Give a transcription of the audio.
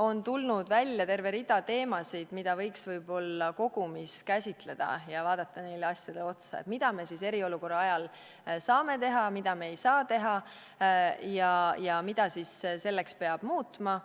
on tulnud välja terve rida teemasid, mida võiks võib-olla kogumis käsitleda ja vaadata neid asju, mida me eriolukorra ajal saame teha, mida me ei saa teha ja mida selleks peab muutma.